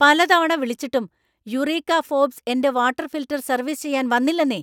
പല തവണ വിളിച്ചിട്ടും യുറീക്ക ഫോർബ്സ് എന്‍റെ വാട്ടർ ഫിൽട്ടർ സർവീസ് ചെയ്യാൻ വന്നില്ലന്നേ!